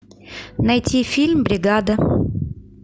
найти фильм бригада